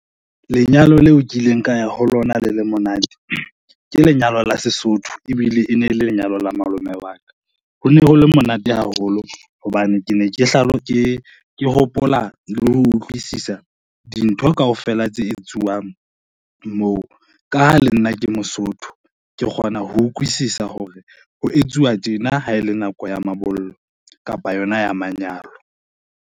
Lenyalo leo ke ileng ka ya ho lona le le monate ke lenyalo la Sesotho ebile e ne le lenyalo la malome wa ka. Ho ne ho le monate haholo hobane ke ne ke hopola le ho utlwisisa dintho kaofela tse etsuwang moo ka ha le nna ke Mosotho, ke kgona ho ukwisisa hore ho etsuwa tjena ha ele nako ya mabollo kapa yona ya manyalo.